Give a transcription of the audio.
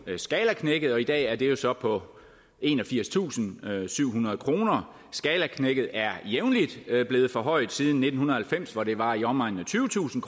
skalaknækket og i dag er det jo så på enogfirstusinde og syvhundrede kroner skalaknækket er jævnligt blevet forhøjet siden nitten halvfems hvor det var i omegnen af tyvetusind